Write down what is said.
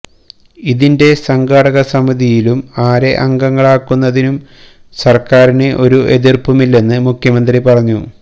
ഇതിന്റെ സംഘാടക സമിതിയിലും ആരെ അംഗങ്ങളാക്കുന്നതിനും സര്ക്കാരിന് ഒരു എതിര്പ്പുമില്ലെന്നും മുഖ്യമന്ത്രി പറഞ്ഞു